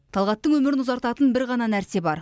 талғаттың өмірін ұзартатын бір ғана нәрсе бар